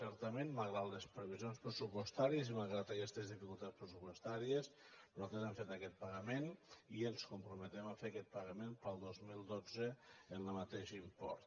certament malgrat les previsions pressupostàries malgrat aquestes dificultats pressupostàries nosaltres hem fet aquest pagament i ens comprometem a fer aquest pagament per al dos mil dotze amb el mateix import